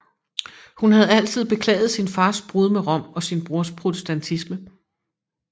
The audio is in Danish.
Hun havde altid beklaget sin fars brud med Rom og sin brors protestantisme